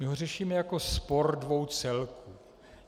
My ho řešíme jako spor dvou celků.